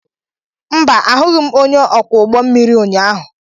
Mba, ahụghị m onye ọkwọ ụgbọ mmiri ụnyaahụ